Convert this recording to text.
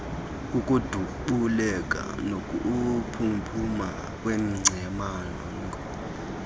kukudubuleka nokuphuphuma kweengcamango